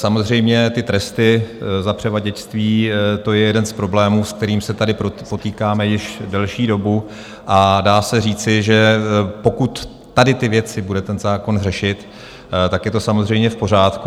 Samozřejmě ty tresty za převaděčství, to je jeden z problémů, s kterým se tady potýkáme již delší dobu, a dá se říci, že pokud tady ty věci bude ten zákon řešit, tak je to samozřejmě v pořádku.